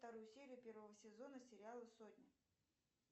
вторую серию первого сезона сериала сотня